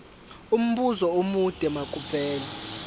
umbuzo omude makuvele